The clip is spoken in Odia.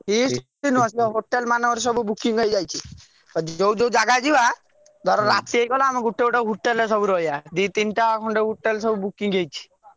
Feast ଫିଷ୍ଟ ନୁହ ହୋଟେଲ ମାନଙ୍କରେ ସବୁ booking ହେଇଯାଇଛି ଯଉ ଯଉ ଜାଗା ଯିବା ଧର ରାତି ହେଇଗଲା ଆମେ ଗୋଟେ ହୋଟେଲରେ ସବୁ ରହିବା ଦି ତିନିଟା ହୋଟେଲ।